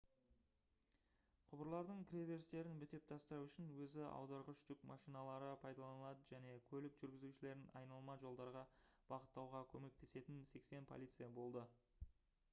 құбырлардың кіреберістерін бітеп тастау үшін өзі аударғыш жүк машиналары пайдаланылды және көлік жүргізушілерін айналма жолдарға бағыттауға көмектесетін 80 полицей болды